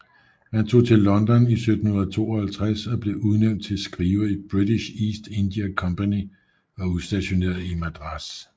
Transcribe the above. Han tog til London i 1752 og blev udnævnt til skriver i British East India Company og udstationeret i Madras